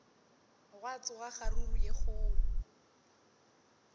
gwa tsoga kgaruru ye kgolo